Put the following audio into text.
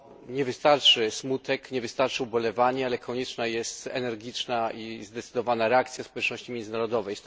nie wystarczy smutek, nie wystarczy ubolewanie, lecz konieczna jest energiczna i zdecydowana reakcja społeczności międzynarodowej.